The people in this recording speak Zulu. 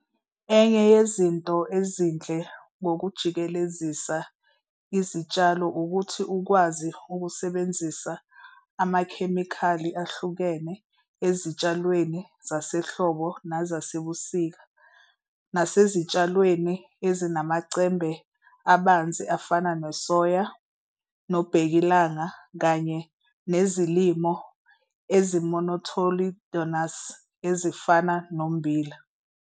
Enye yezinto ezinhle ngokujikelezisa izitshalo ukuthi ukwazi ukusebenzisa amakhemikhali ahlukene ezitshalweni zasehlobo nezasebusika, nasezitshalweni ezinamacembe abanzi afana nesoya, nobhekilanga, kanye nezilimo ezimonocotyledonous ezifana nommbila.